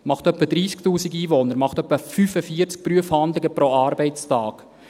Das macht etwa 30’000 Einwohner und etwa 45 Prüfhandlungen pro Arbeitstag.